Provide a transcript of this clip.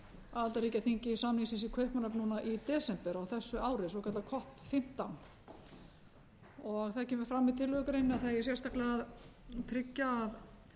aðildarríkjaþingi samningsins í kaupmannahöfn núna í desember á þessu ári svokallað box fimmtán það kemur fram í tillögugreininni að það eigi sérstaklega tryggja að